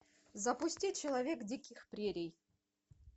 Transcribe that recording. запусти человек диких прерий